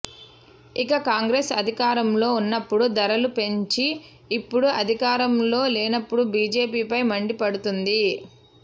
ఇక కాంగ్రెస్అధికారంలో ఉన్నప్పుడు ధరలు పెంచి ఇప్పుడు అధికారంలో లేనప్పుడు బిజెపిపై మండిపడుతోంది